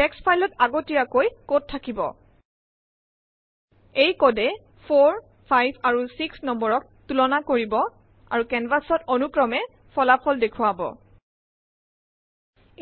Text file ত আগতী্যাৈক code থাকিব । এইকোডে 4 5 আৰু 6 নং ক তুলানা কৰিব আৰু কেনভাচ ত অনুক্ৰমে ফলাফল দেখুৱাব